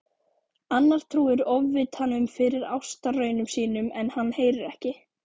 Annar trúir Ofvitanum fyrir ástarraunum sínum en hann heyrir ekki.